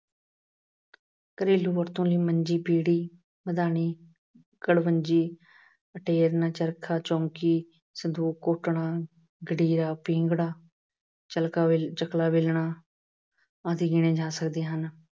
ਘਰੇਲੂ ਵਰਤੋਂ ਲਈ ਮੰਜੀ, ਪੀੜ੍ਹੀ, ਮਦਾਨੀ, ਕੜਵੰਜੀ, ਅਤੇਰਨ, ਚਰਖਾ, ਚੌਂਕੀ, ਸੰਦੂਕ, ਘੋਟਣਾ, ਦੜੀਆ, ਪਿੰਗੜਾ, ਚਲਕਾ ਅਹ ਚਕਲਾ ਬੇਲਣਾ ਆਦਿ ਗਿਣੇ ਜਾ ਸਕਦੇ ਹਨ।